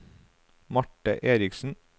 Marte Erichsen